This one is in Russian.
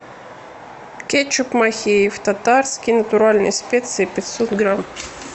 кетчуп махеев татарский натуральные специи пятьсот грамм